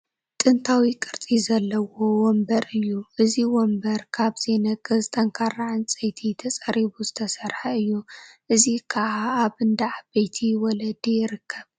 ጥንታዊ ቅርፂ ዘለዎ ወንበር እዩ፡፡ እዚ ወንበር ካብ ዘይነቅዝ ጠንካራ ዕንጨይቲ ተፀሪቡ ዝተሰርሐ እዩ፡፡ እዚ ከዓ ኣብ እንዳ ዓበይቲ ወለዲ ዝርከብ፡፡